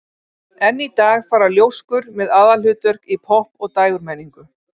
Enn í dag fara ljóskur með aðalhlutverk í popp- og dægurmenningu.